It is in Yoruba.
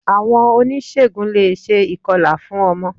Àwon onísègùn le è se ìkọlà fún ọmọ